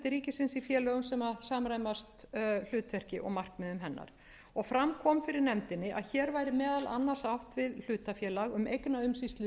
ríkisins í félögum sem samræmast hlutverki og markmiðum hennar fram kom fyrir nefndinni að hér væri meðal annars átt við